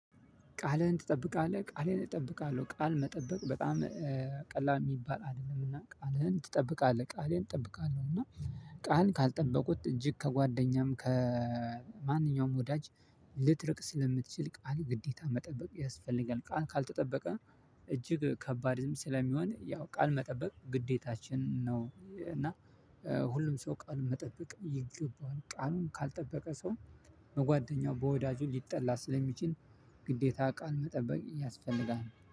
ቃልህን ትጠብቃለህ ቃሌን እጠብቃለሁ ቃል መጠበቅ በጣም ቀላል ሚባል አይደለምና ቃልህን ትጠብቃለህ? ቃሌን እጠብቃለሁ። እና ቃል ካልጠበቁት እጅግ ከጓደኛም ከማንኛውም ወዳጅ ልትረቅ ስለምትችል ቃል ግዴታ መጠበቅ ያስፈልጋል። ቃል ካልተጠበቀ እጅግ ከባድም ስለሚሆን ያው ቃል መጠበቅ ግዴታችን ነው። እና ሁሉም ሰው ቃል መጠበቅ ይገባዋል። ቃሉን ካልጠበቀ ሰው በጓደኛው በወዳጁ ሊጠላ ስለሚችል ግዴታ ቃል መጠበቅ ያስፈልጋል